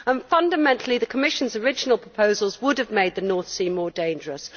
Fundamentally the Commission's original proposals would have made the North Sea more dangerous.